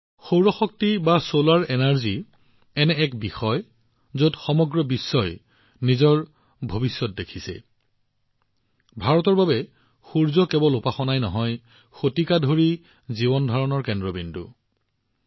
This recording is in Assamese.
সৌৰ শক্তি আজি এনে এক বিষয় যত সমগ্ৰ বিশ্বই ইয়াৰ ভৱিষ্যতৰ প্ৰতি দৃষ্টি ৰাখিছে আৰু ভাৰতৰ বাবে সূৰ্য ঈশ্বৰক কেৱল শতিকা ধৰি উপাসনা কৰাই নহয় ই আমাৰ জীৱন শৈলীৰ কেন্দ্ৰবিন্দুও হৈ আহিছে